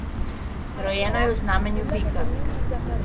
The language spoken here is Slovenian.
Rojena je v znamenju bika.